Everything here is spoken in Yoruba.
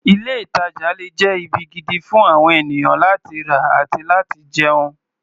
Ilé-ìtàjà le jẹ́ ibi gidi fún àwon ènìyàn láti rà àti láti jẹun.